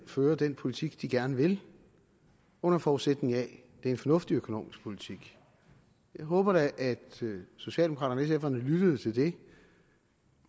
føre den politik de gerne vil under forudsætning af at det en fornuftig økonomisk politik jeg håber da at socialdemokraterne og sf’erne lyttede til det